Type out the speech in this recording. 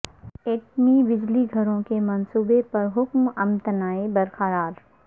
ایٹمی بجلی گھروں کے منصوبے پر حکم امتناعی برقرار